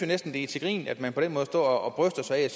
næsten det er til grin at man på den måde står og bryster sig af